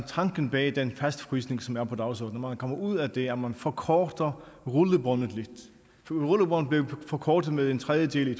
tanken bag den fastfrysning som er på dagsordenen man kommer ud af det når man forkorter rullebåndet lidt rullebåndet blev forkortet med en tredjedel i